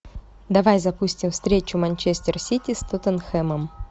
давай запустим встречу манчестер сити с тоттенхэмом